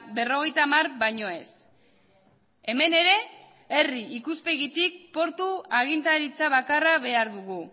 berrogeita hamar baino ez hemen ere herri ikuspegitik portu agintaritza bakarra behar dugu